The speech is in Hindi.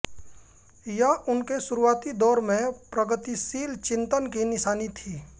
यह उनके शुरूआती दौर में प्रगतिशील चिंतन की निशानी थी